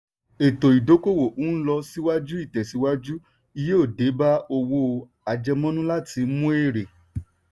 ètò ìdókòwò n lọ síwájú ìtẹ̀síwájú yóò dé bá owó àjẹmọ́nú láti mú èrè.